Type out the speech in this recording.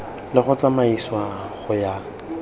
le go tsamaisiwa go ya